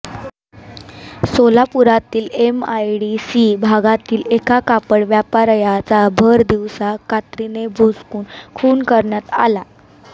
सोलापुरातील MIDC भागातील एका कापड व्यापाऱयाचा भर दिवसा कात्रीने भोसकून खून करण्यात आला